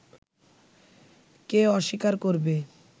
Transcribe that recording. কে অস্বীকার করবে